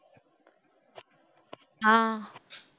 ஆஹ்